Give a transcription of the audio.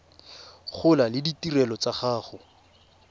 gola le ditirelo tsa go